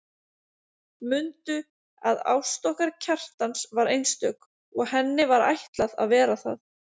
Mundu að ást okkar Kjartans var einstök og henni var ætlað að vera það.